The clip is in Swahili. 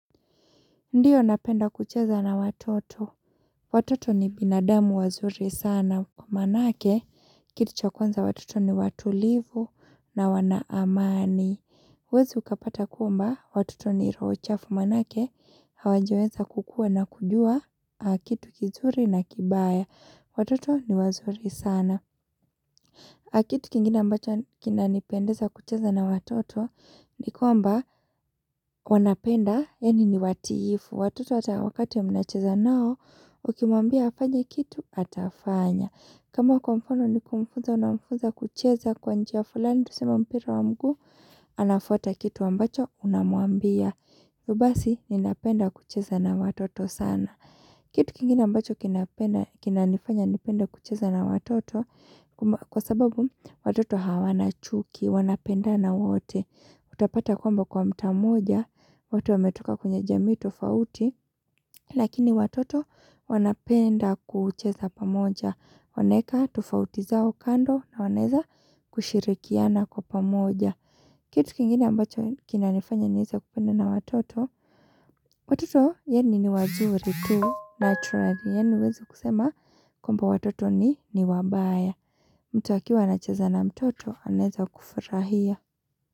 Ndiyo napenda kucheza na watoto. Watoto ni binadamu wazuri sana. Kumanake, kitu cha kwanza watoto ni watulivu na wana amani. Huwezi ukapata kumba, watoto ni roho chafu manake. Hawajaweza kukua na kujua, kitu kizuri na kibaya. Watoto ni wazuri sana. A kitu kingina ambacho kinanipendeza kucheza na watoto ni kwamba wanapenda yaani ni watiifu. Watoto hata wakati ya mnacheza nao, ukimwambia hafanye kitu, atafanya. Kama kwa mfano nikumfunza, unamfunza kucheza kwa njia fulani, tuseme mpira wa mguu, anafata kitu ambacho, unamwambia. Yubasi, ninapenda kucheza na watoto sana. Kitu kingine ambacho kinapenda kinanifanya nipende kucheza na watoto, kwamba Kwa sababu watoto hawana chuki, wanapendana wote Utapata kwamba kwa mtaa mmoja, wote wametoka kwenye jamii tofauti Lakini watoto wanapenda kucheza pamoja wanaeka tofauti zao kando na wanaeza kushirikiana kwa pamoja Kitu kingine ambacho kinanifanya nieze kupenda na watoto Watoto yaani ni wazuri tu, naturally Yaani huwezi kusema kwamba watoto ni ni wabaya mtu akiwa anacheza na mtoto anaeza kufurahia.